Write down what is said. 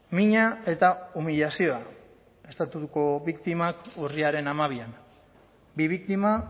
mina eta umilazioa estatuko biktimak urriaren hamabian bi biktima